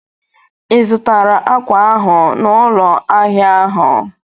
Ị zụtara akwa ahụ n'ụlọ ahịa ahụ?